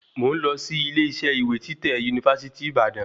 Mo ń lọ sí ilé isẹ́ ìwé títẹ̀ university Ìbàdàn